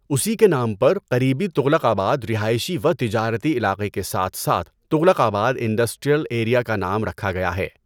اسی کے نام پر قریبی تغلق آباد رہائشی و تجارتی علاقے کے ساتھ ساتھ تغلق آباد انڈسٹریل ایریا کا نام رکھا گیا ہے۔